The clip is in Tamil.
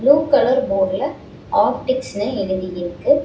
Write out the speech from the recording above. ப்ளூ கலர் போடுல ஆப்டிக்ஸ்னு எழுதி இருக்கு.